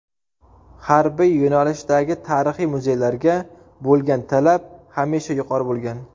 Harbiy yo‘nalishdagi tarixiy muzeylarga bo‘lgan talab hamisha yuqori bo‘lgan.